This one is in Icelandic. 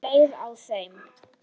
Ertu leiður á þeim?